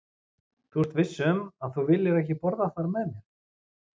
Þú ert viss um, að þú viljir ekki borða þar með mér?